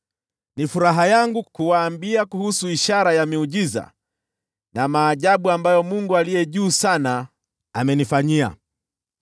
Ni furaha yangu kuwaambia kuhusu ishara za miujiza na maajabu ambayo Mungu Aliye Juu Sana amenifanyia.